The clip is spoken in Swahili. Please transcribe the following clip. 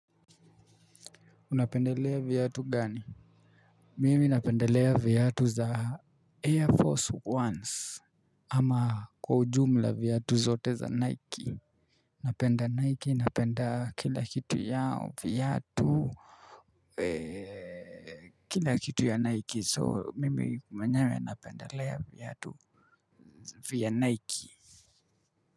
Unapendelea viatu gani mimi napendelea viatu za air force ones ama kwa ujumla viatu zote za nike napenda nike napenda kila kitu yao viatu eee kila kitu ya nike so mimi mwenyewe napendelea viatu vya nike. Kwa hivyo.